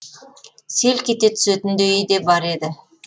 селк ете түсетіндейі де бар еді